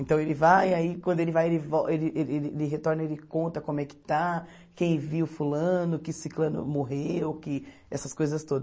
Então ele vai, aí quando ele vai, ele vol ele ele ele retorna, ele conta como é que está, quem viu fulano, que ciclano morreu, que essas coisas todas.